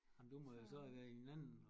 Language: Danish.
Ej men du må jo så være i en anden